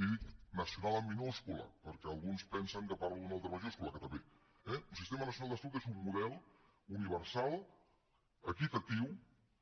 i dic nacional amb minúscula perquè alguns pensen que parlo d’una altra majúscula que també eh un sistema nacional de salut és un model universal equitatiu